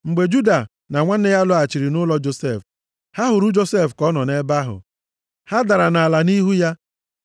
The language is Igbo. Mgbe Juda na ụmụnne ya lọghachiri nʼụlọ Josef, ha hụrụ Josef ka ọ nọ nʼebe ahụ. Ha dara nʼala nʼihu ya.